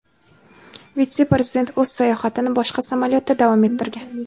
vitse-prezident o‘z sayohatini boshqa samolyotda davom ettirgan.